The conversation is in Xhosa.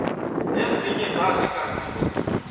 ezinye zathi kanti